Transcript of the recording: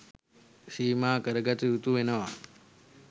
සීමා කරගත යුතු වෙනවා.